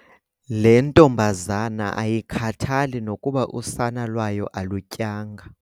Le ntombazana ayikhathali nokuba usana lwayo alutyanga.